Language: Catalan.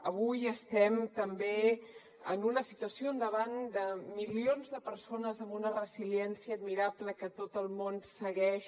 avui estem també en una situació davant de milions de persones amb una resiliència admirable que tot el món segueix